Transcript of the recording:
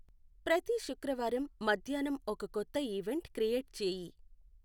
ప్రతీ శుక్రవారం మధ్యాహ్నాం ఒక కొత్త ఈవెంట్ క్రియేట్ చేయి.